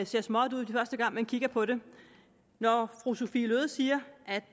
ser småt ud første gang man kigger på det når fru sophie løhde siger